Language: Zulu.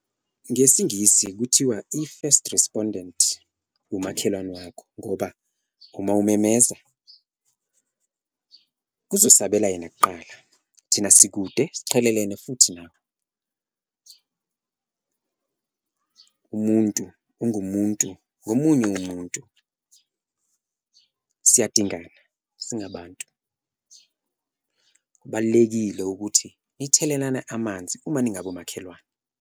Ngesingisi kuthiwa i-first respondent umakhelwane wakho ngoba uma umemeza kuzosabela yena kuqala, thina sikude siqhelelene futhi nawe, umuntu ungumuntu ngomunye umuntu, siyadingana singabantu. Kubalulekile ukuthi nithelelane amanzi uma ningabomakhelwane.